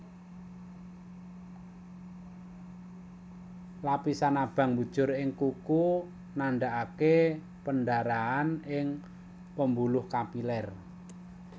Lapisan abang mbujur ing kuku nandhaaké pendarahan ing pembuluh kapilér